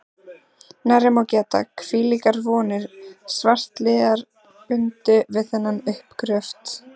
Nærri má geta, hvílíkar vonir svartliðar bundu við þennan uppgröft.